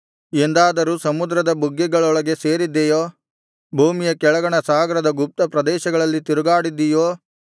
ಎಂದಾದರೂ ಸಮುದ್ರದ ಬುಗ್ಗೆಗಳೊಳಗೆ ಸೇರಿದ್ದೆಯೋ ಭೂಮಿಯ ಕೆಳಗಣ ಸಾಗರದ ಗುಪ್ತ ಪ್ರದೇಶಗಳಲ್ಲಿ ತಿರುಗಾಡಿದ್ದೀಯೋ